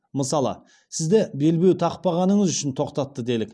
мысалы сізді белбеу тақпағаныңыз үшін тоқтатты делік